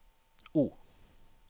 O